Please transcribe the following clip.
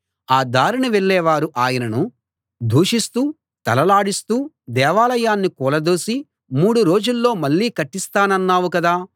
ఆ దారిన వెళ్ళే వారు ఆయనను దూషిస్తూ తలలాడిస్తూ దేవాలయాన్ని కూలదోసి మూడు రోజుల్లో మళ్ళీ కట్టిస్తానన్నావు కదా